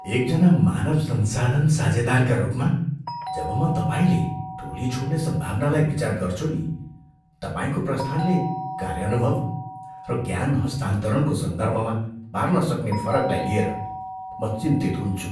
एकजना मानव संसाधन साझेदारका रूपमा, जब म तपाईँले टोली छोड्ने सम्भावनालाई विचार गर्छु नि, तपाईँको प्रस्थानले कार्य अनुभव र ज्ञान हस्तान्तरणको सन्दर्भमा पार्न सक्ने फरकलाई लिएर म चिन्तित हुन्छु।